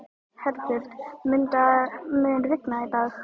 Herbjört, mun rigna í dag?